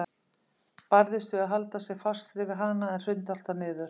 Barðist við að halda sér fastri við hana en hrundi alltaf niður.